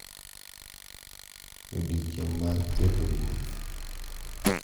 E odiechieng’ mar keto ruoth,